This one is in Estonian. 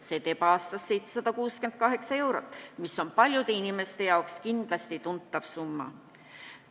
See teeb aastas 768 eurot, mis on paljude inimeste jaoks kindlasti tuntav summa.